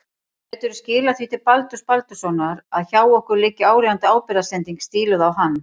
Gætirðu skilað því til Baldurs Baldurssonar að hjá okkur liggi áríðandi ábyrgðarsending stíluð á hann.